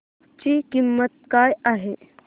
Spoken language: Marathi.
ची किंमत काय आहे